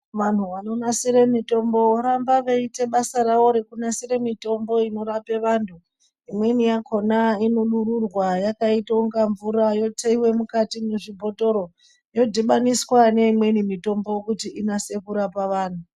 Vantu vanonasira mitombo voramba veiite basa ravo rekunasire mitombo inorape vantu imweni yakhona inodururwa yakataunga mvura yotheiwa mukati mwezvibhotoro yodhibaniswa neimweni mitombo kuti inase kurapa vantu.